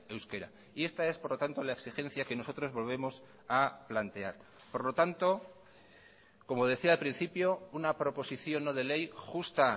euskera y esta es por lo tanto la exigencia que nosotros volvemos a plantear por lo tanto como decía al principio una proposición no de ley justa